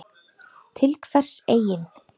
Til hvers eigin